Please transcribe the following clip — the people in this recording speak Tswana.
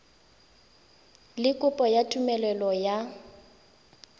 le kopo ya tumelelo ya